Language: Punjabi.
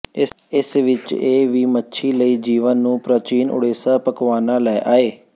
ਇਸ ਵਿਚ ਇਹ ਵੀ ਮੱਛੀ ਲਈ ਜੀਵਨ ਨੂੰ ਪ੍ਰਾਚੀਨ ਓਡੇਸਾ ਪਕਵਾਨਾ ਲੈ ਆਏ